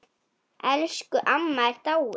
Elsku amma er dáinn.